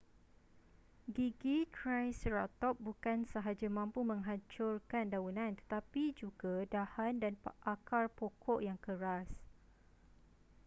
gigi triceratop bukan sahaja mampu menghancurkan daunan tetapi juga dahan dan akar pokok yang keras